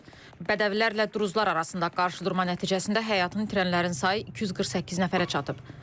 Bədəvilərlə duruzlar arasında qarşıdurma nəticəsində həyatını itirənlərin sayı 248 nəfərə çatıb.